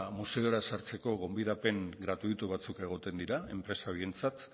museora sartzeko gonbidapen gratuito batzuk egoten dira enpresa horientzat